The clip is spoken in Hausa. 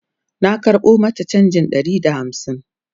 na karɓo mata chanjin Ɗari da hamsin